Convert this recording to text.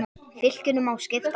Fylkinu má skipta í þrennt.